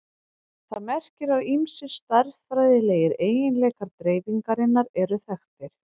Það merkir að ýmsir stærðfræðilegir eiginleikar dreifingarinnar eru þekktir.